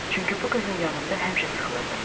Çünki bu qızın yanında həmişə sıxılırdım.